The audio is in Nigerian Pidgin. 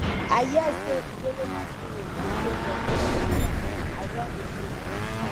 i hear sey ijele masqurade go show for di festival i don dey go